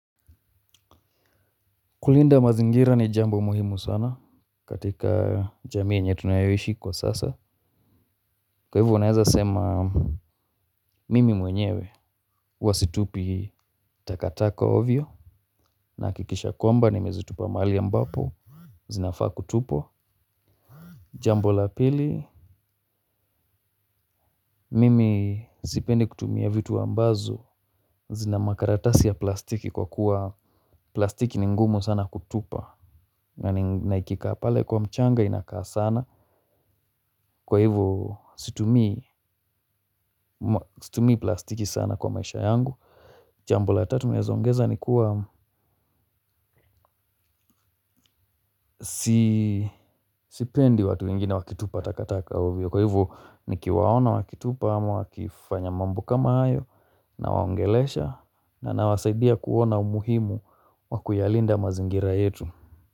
Kulinda mazingira ni jambo muhimu sana katika jamii yenye tunayaishi kwa sasa. Kwa hivyo unaweza sema mimi mwenyewe. Huwa situpi takataka ovyo nahakikisha kwamba nimezitupa mahali ambapo. Zinafaa kutupwa. Jambo la pili. Mimi sipendi kutumia vitu ambazo. Zina makaratasi ya plastiki kwa kuwa plastiki ni ngumu sana kutupa. Na ikikaa pale kwa mchanga inakaa sana. Kwa hivyo situmii plastiki sana kwa maisha yangu jambo la tatu naweza ongeza ni kuwa sipendi watu wengine wakitupa takataka ovyo. Kwa hivyo nikiwaona wakitupa ama wakifanya mambo kama hayo nawaongelesha na nawasaidia kuona umuhimu wa kuyalinda mazingira yetu.